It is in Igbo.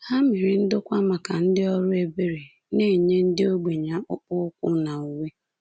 Ha mere ndokwa maka ndị ọrụ ebere na-enye ndị ogbenye akpụkpọ ụkwụ na uwe.